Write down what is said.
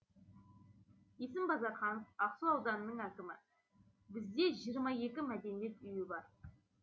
есім базарханов ақсу ауданының әкімі бізде жиырма екі мәдениет үйі бар